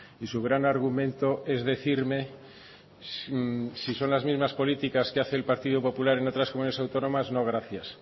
y su gran argumento es decirme si son las mismas políticas que hace el partido popular en otras comunidades autónomas no gracias